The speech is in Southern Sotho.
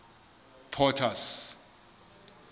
potter's